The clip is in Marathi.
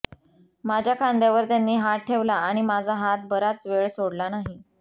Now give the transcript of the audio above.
माझ्या खांद्यावर त्यांनी हात ठेवला आणि माझा हात बराच वेळ सोडला नाही